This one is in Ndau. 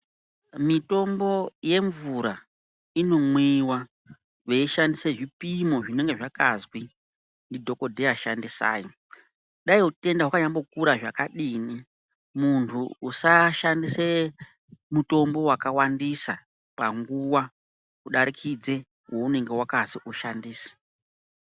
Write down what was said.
Mitombo yemvura inomwiwa veishandise zvipimo zvinenge zvakazwi ndidhokodheya shandisai. Dai utenda hwakanyambokura zvakadini muntu usashandise mutombo wakawandisa panguva kudarikidze weunonga wakazi ushandise.